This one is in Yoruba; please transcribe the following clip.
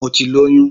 Mo ti lóyún.